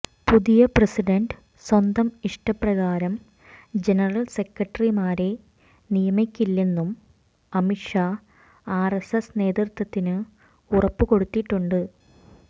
പുതിയ പ്രസിഡന്റ് സ്വന്തം ഇഷ്ടപ്രകാരം ജനറൽ സെക്രട്ടറിമാരെ നിയമിക്കില്ലെന്നും അമിത് ഷാ ആർഎസ്എസ് നേതൃത്വത്തിന് ഉറപ്പ് കൊടുത്തിട്ടുണ്ട്